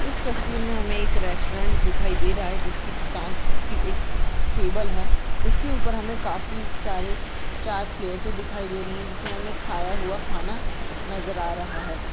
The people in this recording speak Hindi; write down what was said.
इस तस्वीर मे हमे एक रेस्टॉरंट दिखाई दे रहा है जिसकी काँच की एक टेबल है उसके उपर हमे काफी सारे चार प्लेटे दिखाई दे रही है जिसमे खाया हुआ खाना नजर हा रहा है।